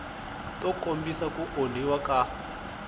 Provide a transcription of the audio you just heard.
to kombisa ku onhiwa ka